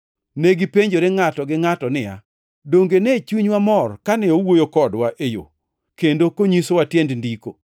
Negipenjore ngʼato gi ngʼato niya, “Donge ne chunywa mor kane owuoyo kodwa e yo kendo konyisowa tiend Ndiko?”